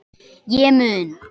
Ég mun